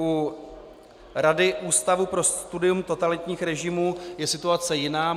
U Rady Ústavu pro studium totalitních režimů je situace jiná.